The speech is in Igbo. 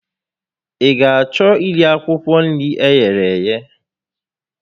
Ị ga achọ iri akwụkwọ nri eghere eghe?